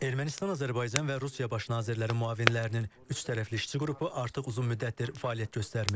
Ermənistan, Azərbaycan və Rusiya baş nazirləri müavinlərinin üçtərəfli işçi qrupu artıq uzun müddətdir fəaliyyət göstərmir.